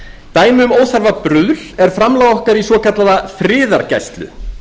dæmi um óþarfa bruðl er framlag okkar í svokallaða friðargæslu